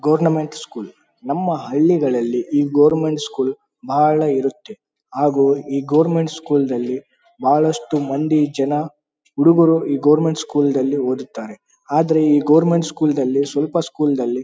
Government school . ನಮ್ಮ ಹಳ್ಳಿಗಳಲ್ಲಿ ಈ ಗೊವೆರ್ನ್ಮೆಂಟ್ ಸ್ಕೂಲ್ ಬಹಳ ಇರತ್ತೆ ಹಾಗು ಈ ಗೊವೆರ್ನ್ಮೆಂಟ್ ಸ್ಕೂಲ್ ನಲ್ಲಿ ಬಹಳಷ್ಟು ಮಂದಿ ಜನ ಹುಡುಗರು ಈ ಗೊವೆರ್ನ್ಮೆಂಟ್ ಸ್ಕೂಲ್ ನಲ್ಲಿ ಓದುತ್ತಾರೆ. ಆದ್ರೆ ಈ ಗೊವೆರ್ನ್ಮೆಂಟ್ ಸ್ಕೂಲ್ ನಲ್ಲಿ ಸ್ವಲ್ಪ ಸ್ಕೂಲ್ ನಲ್ಲಿ--